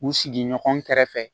U sigi ɲɔgɔn kɛrɛfɛ